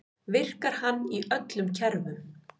Virkar hann í öllum kerfum?